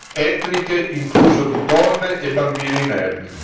etniche, incluso di donne e bambini inermi.